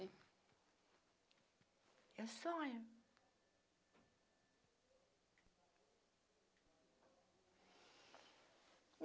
Meu sonho?